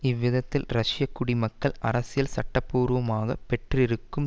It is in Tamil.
இவ்விதத்தில் ரஷ்ய குடிமக்கள் அரசியல் சட்ட பூர்வமாக பெற்றிருக்கும்